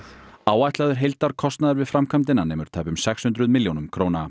áætlaður heildarkostnaður við framkvæmdina nemur tæpum sex hundruð milljónum